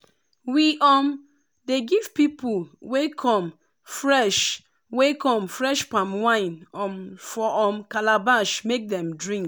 we um dey give people wey come fresh wey come fresh palm wine um for um calabash make dem drink.